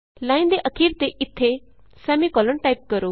line ਦੇ ਅਖੀਰ ਤੇ ਇਥੇ ਸੈਮੀਕੋਲਨ ਟਾਈਪ ਕਰੋ